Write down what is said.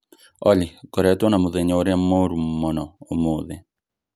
Olly ngoretwo na mũthenya ũrĩa mũũru mũno ũmũthĩ